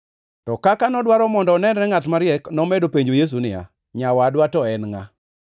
To kaka nodwaro mondo onenre ngʼat mariek, nomedo penjo Yesu niya, “Nyawadwa to en ngʼa?”